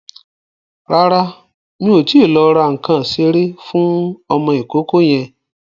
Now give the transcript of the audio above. Rárá, mi ò tíì lọ ra nǹkan ìṣeré fún ọmọ ìkókó yẹn.